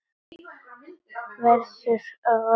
Verður alla ævi að leita.